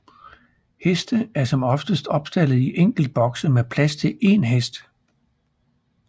Heste er som oftest opstaldet i enkeltbokse med plads til én hest